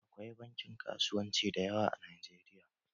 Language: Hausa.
Akwai bankin kasuwanci da yawa a Najeriya